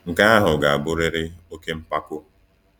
Nke ahụ ga-abụrịrị oke mpako.